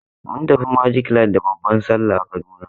Mun tafi Magic land da babban salla a Kaduna.